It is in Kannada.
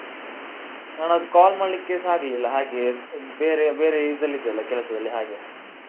ನಾನ್ ಆವತ್ತು call ಮಾಡ್ಲಿಕ್ಕೆಸ ಆಗ್ಲಿಲ್ಲ ಹಾಗೆ ಬೇರೆ ಬೇರೆ ಇದ್ರಲ್ಲಿ ಇದ್ದೇ ಅಲ್ಲ ಕೆಲಸದಲ್ಲಿ ಹಾಗೆ.